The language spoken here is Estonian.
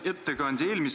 Hea ettekandja!